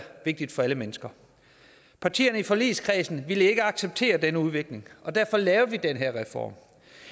vigtigt for alle mennesker partierne i forligskredsen ville ikke acceptere denne udvikling og derfor lavede vi den her reform